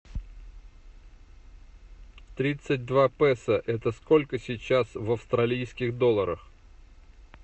тридцать два песо это сколько сейчас в австралийских долларах